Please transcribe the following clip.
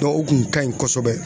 o kun ka ɲi kosɛbɛ.